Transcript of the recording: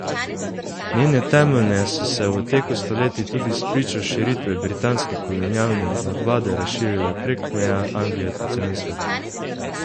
Njene temeljne so se v teku stoletij tudi spričo širitve britanske kolonialne nadvlade razširile prek meja Anglije po celem svetu.